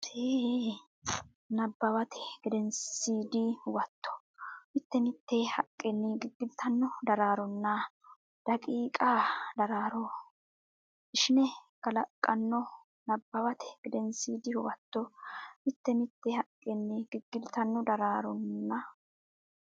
Nabbawate Gedensiidi Huwato mite mite haqqenni giggiltanno daronna daqiiqa daraaro ishine kalaqqanno Nabbawate Gedensiidi Huwato mite mite haqqenni giggiltanno daronna.